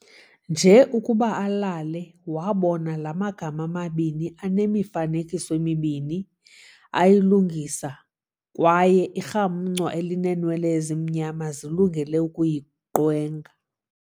Nje ukuba alele, wabona la magama mabini anemifanekiso emibini ayilungisa kwaye irhamncwa elinenwele ezimnyama zilungele ukuyiqwenga.